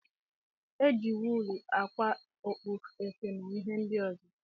Eji wuulu ákwà okpu, efe na ihe ndị ọzọ.